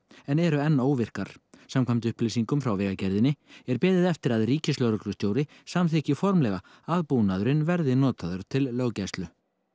en eru enn óvirkar samkvæmt upplýsingum frá Vegagerðinni er beðið eftir að ríkislögreglustjóri samþykki formlega að búnaðurinn verði notaður til löggæslu